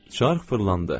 Çarx fırlandı.